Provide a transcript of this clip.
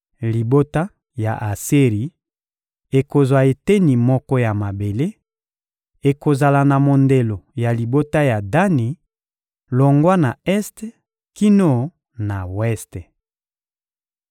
Libota ya Aseri ekozwa eteni moko ya mabele: ekozala na mondelo ya libota ya Dani, longwa na este kino na weste.